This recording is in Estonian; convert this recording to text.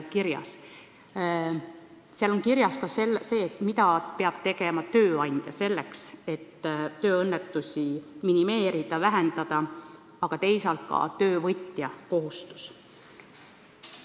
Kirjas on ka see, mida peab tegema tööandja selleks, et tööõnnetusi minimeerida, vähendada, aga teisalt ka töövõtja kohustus.